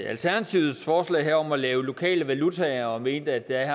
alternativets forslag her om at lave lokale valutaer og mente at der